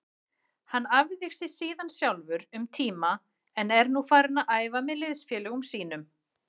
Hann æfði síðan sjálfur um tíma en er nú farinn að æfa með liðsfélögum sínum.